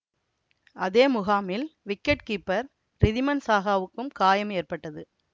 அதே முகாமில் wicket keeper Riddhiman சாஹாவுக்கும் காயம் ஏற்பட்டது